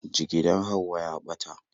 Jigidar Hauwa ya ɓata